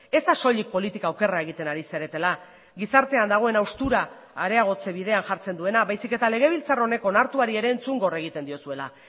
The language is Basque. ez da soilik politika okerra egiten ari zaretela gizartean dagoen haustura areagotze bidean jartzen duena baizik eta legebiltzar honek onartuari ere entzungor egiten diozuela